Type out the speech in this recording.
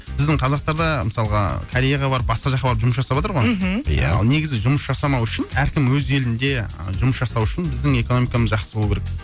біздің қазақтар да мысалға кореяға барып басқа жаққа барып жұмыс жасаватыр ғой мхм ал негізі жұмыс жасамауы үшін әркім өз елінде жұмыс жасау үшін біздің экономикамыз жақсы болу керек